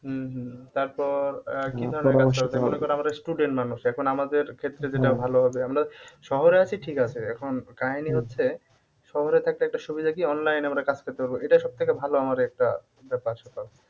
উম হম তারপর আহ মনে কর আমরা student মানুষ এখন আমাদের ক্ষেত্রে যেটা ভালো হবে আমরা শহরে আছি ঠিক আছে এখন কাহিনী হচ্ছে শহরে থাকলে একটা সুবিধা কি online এ আমরা কাজ করতে পারব এটা সবথেকে ভালো আমাদের একটা ব্যাপার-স্যাপার